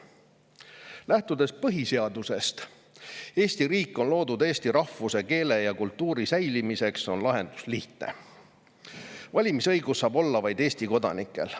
Lähtudes põhiseadusest, mille järgi Eesti riik on loodud eesti rahvuse, keele ja kultuuri säilimiseks, on lahendus lihtne: valimisõigus saab olla vaid Eesti kodanikel.